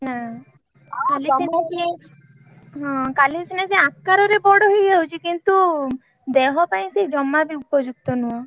ନା ଖାଲି ସିନା ସିଏ ହଁ ଖାଲି ସିନା ସିଏ ଆକାର ରେ ବଡ ହେଇଯାଉଛି କିନ୍ତୁ ଦେହ ପାଇଁ ସିଏ ଜମା ବି ଉପଯୁକ୍ତ ନୁହେଁ।